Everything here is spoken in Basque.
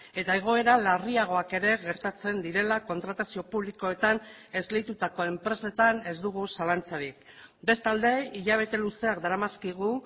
eta egoera larriagoak ere gertatzen direla kontratazio publikoetan esleitutako enpresetan ez dugu zalantzarik bestalde hilabete luzeak daramazkigu